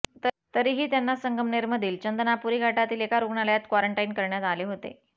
तरीही त्यांना संगमनेरमधील चंदनापुरी घाटातील एका रुग्णालयात क्वारंटाईन करण्यात आले होते